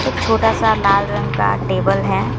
छोटा सा लाल रंग का टेबल है।